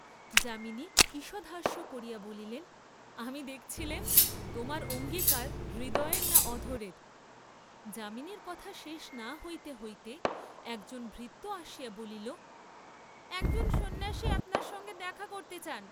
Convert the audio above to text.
যামিনী ঈষৎহাস্য করিয়া বলিলেন আমি দেখছিলেম তোমার অঙ্গীকার হৃদয়ের না অধরের, যামিনীর কথা শেষ না হইতে হইতে একজন ভৃত্য আসিয়া বলিল, একজন সন্ন্যাসী আপনার সঙ্গে দেখা করতে চান।